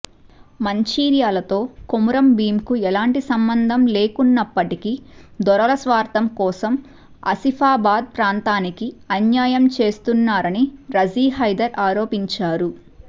మంచిర్యాలతో కొమురం భీంకు ఎలాంటి సంబంధం లేకున్నప్పటికీ దొరల స్వార్థం కోసం ఆసిఫాబాద్ ప్రాంతానికి అన్యాయం చేస్తున్నారని రజీహైదర్ ఆరోపించారు